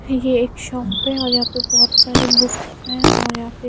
ये एक शॉप है और यहां पे बहोत सारी बुक्स हैं और यहाँ पे--